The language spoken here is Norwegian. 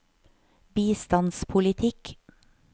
bistandspolitikk